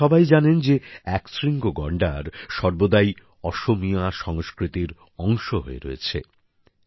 আপনারা সবাই জানেন যে একশৃঙ্গ গন্ডার সর্বদাই অসমীয়া সংস্কৃতির অংশ হয়ে রয়েছে